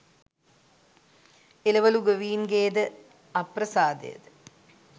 එළවළු ගොවීන්ගේද අප්‍රසාදය ද